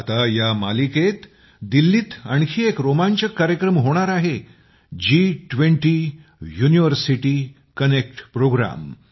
आता या मालिकेत दिल्लीत आणखी एक रोमांचक कार्यक्रम होणार आहे जी20 युनिव्हर्सिटी कनेक्ट प्रोग्राम